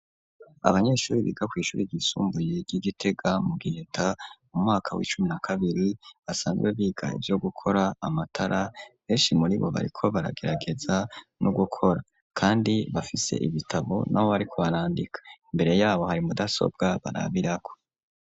Abanyeshuri, biga kw'ishuri ryisumbuye, ry'i Gitega, mu Giheta, mu mwaka w'icumi na kabiri, basanzwe biga, ivyo gukora amatara; benshi muri bo, bariko baragerageza, no gukora; kandi bafise ibitabo, n'aho bariko barandika; imbere y'abo, hari mudasobwa, barabirako.